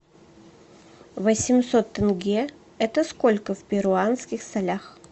восемьсот тенге это сколько в перуанских солях